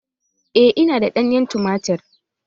Eh, ina da ɗanyen tumatir.